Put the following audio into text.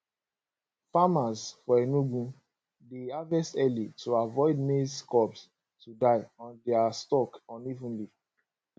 farmers for enugu dey harvest early to avoid maize cobs to die on dia stalk unevenly